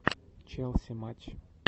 челси матч